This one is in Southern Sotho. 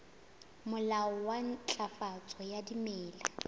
molao wa ntlafatso ya dimela